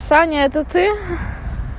саня это ты